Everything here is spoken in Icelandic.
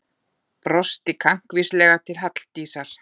Brosti kankvíslega til Halldísar.